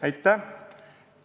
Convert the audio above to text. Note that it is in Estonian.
Aitäh!